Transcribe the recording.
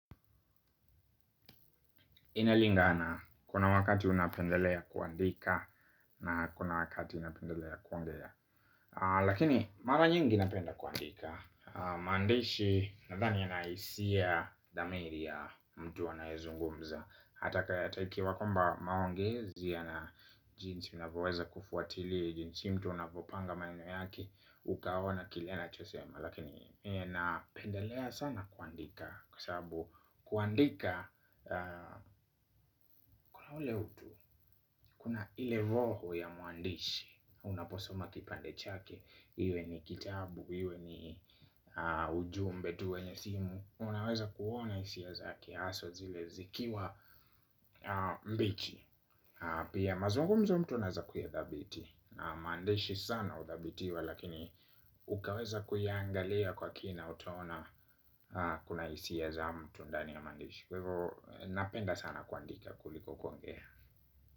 Inalingana kuna wakati unapendelea kuandika na kuna wakati unapendelea kuongea. Lakini mara nyingi napenda kuandika. Maandishi nadhani yanahisia thamiri ya mtu anaezungumza. Hata ikiwa kwamba maongezi yana jinsi unavyoweza kufuatilia. Jinsi mtu anapopanga maneno yake ukaona kile anachosema. Lakini miye napendelea sana kuandika. Kwa sababu kuandika, kuna ule utu, kuna ile voho ya muandishi. Unaposoma kipande chake, iwe ni kitabu, iwe ni ujumbe tuwenye simu. Unaweza kuona hisia zake haswaa zile zikiwa mbichi. Pia mazungumzo mtu anaeza kuyadhabiti. Maandishi sana udhabitiwa lakini ukaweza kuyaangalia kwa kina utaona kuna hisia za mtu ndani ya mandishi kwa hivyo napenda sana kuandika kuliko kuongea.